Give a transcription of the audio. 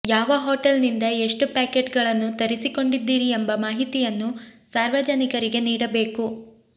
ಯಾವ ಹೋಟೆಲ್ ನಿಂದ ಎಷ್ಟು ಪ್ಯಾಕೇಟ್ ಗಳನ್ನು ತರಿಸಿಕೊಂಡಿದ್ದೀರಿ ಎಂಬ ಮಾಹಿತಿಯನ್ನು ಸಾರ್ವಜನಿಕರಿಗೆ ನೀಡಬೇಕು